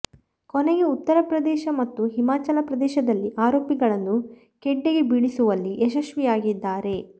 ಕೊನೆಗೆ ಉತ್ತರಪ್ರದೇಶ ಮತ್ತು ಹಿಮಾಚಲ ಪ್ರದೇಶದಲ್ಲಿ ಆರೋಪಿಗಳನ್ನು ಖೆಡ್ಡಾಗೆ ಬೀಳಿಸುವಲ್ಲಿ ಯಶಸ್ವಿಯಾಗಿದ್ದಾರೆ